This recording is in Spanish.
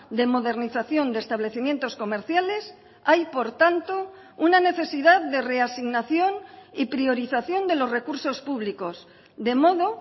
de modernización de establecimientos comerciales hay por tanto una necesidad de reasignación y priorización de los recursos públicos de modo